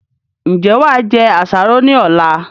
Ń jẹ́ wá jẹ àsáró ni ọ̀la?